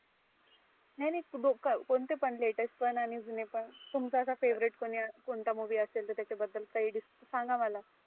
नाही नाही द कोणते पण latest पण आणि जुने पण. तुमचा आसा favoriet कोणी कोणता movie असेल. तर त्याच्या बद्दल काही सांगा मला.